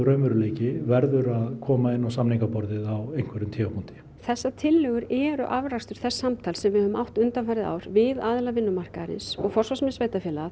raunveruleiki verður að koma inn á samningaborðið á einhverjum tímapunkti þessar tillögur eru afrakstur þess samtals sem við höfum átt undanfarið ár við aðila vinnumarkaðarins og forsvarsmenn sveitarfélaga